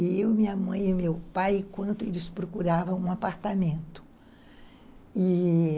Eu, minha mãe e meu pai, enquanto eles procuravam um apartamento, e